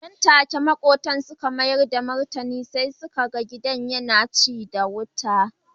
Nan take makwabta suka mayar da martani sai suka ga gidan yana cin wuta.